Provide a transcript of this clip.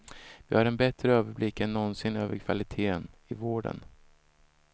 Vi har en bättre överblick än någonsin över kvaliteten i vården.